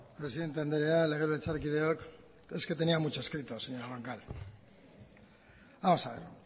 presidenta anderea legebiltzarkideok es que tenía mucho escrito señora roncal vamos a ver